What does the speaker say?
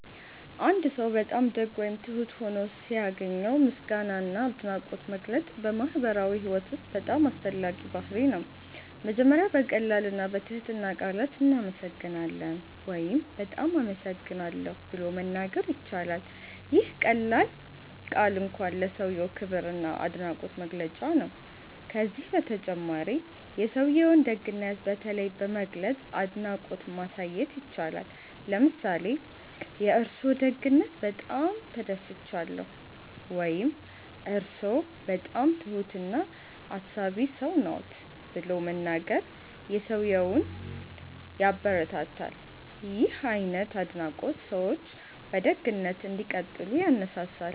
አንድ ሰው በጣም ደግ ወይም ትሁት ሆኖ ሲያገኘው ምስጋና እና አድናቆት መግለጽ በማህበራዊ ህይወት ውስጥ በጣም አስፈላጊ ባህርይ ነው። መጀመሪያ በቀላል እና በትህትና ቃላት “እናመሰግናለን” ወይም “በጣም አመሰግናለሁ” ብሎ መናገር ይቻላል። ይህ ቀላል ቃል እንኳን ለሰውዬው ክብር እና አድናቆት መግለጫ ነው። ከዚህ በተጨማሪ የሰውዬውን ደግነት በተለይ በመግለጽ አድናቆት ማሳየት ይቻላል። ለምሳሌ “የእርስዎ ደግነት በጣም ተደስቻለሁ” ወይም “እርስዎ በጣም ትሁት እና አሳቢ ሰው ነዎት” ብሎ መናገር ሰውዬውን ያበረታታል። ይህ አይነት አድናቆት ሰዎች በደግነት እንዲቀጥሉ ያነሳሳል።